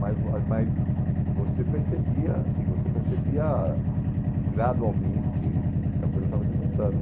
Mas mas você percebia assim você percebia gradualmente que a coisa estava desmontando.